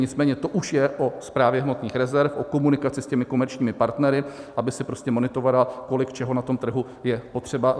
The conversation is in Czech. Nicméně to už je o Správě hmotných rezerv, o komunikaci s těmi komerčními partnery, aby si prostě monitorovala, kolik čeho na tom trhu je potřeba.